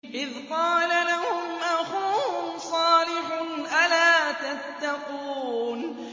إِذْ قَالَ لَهُمْ أَخُوهُمْ صَالِحٌ أَلَا تَتَّقُونَ